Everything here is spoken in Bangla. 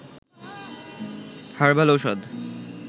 হারবাল ঔষধ